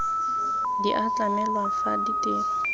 di a tlamelwa fa ditiro